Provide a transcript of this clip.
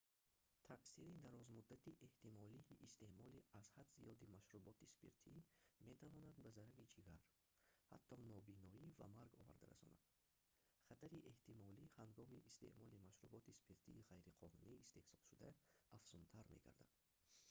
таъсири дарозмуддати эҳтимолии истеъмоли аз ҳад зиёди машруботи спиртӣ метавонад ба зарари ҷигар ҳатто нобиноӣ ва марг оварда расонад хатари эҳтимолӣ ҳангоми истеъмоли машруботи спиртии ғайриқонунӣ истеҳсолшуда афзунтар мегардад